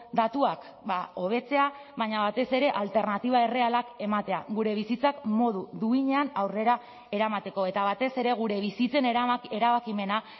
datuak hobetzea baina batez ere alternatiba errealak ematea gure bizitzak modu duinean aurrera eramateko eta batez ere gure bizitzen erabakimena